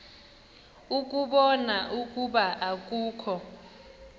ukubona ukuba akukho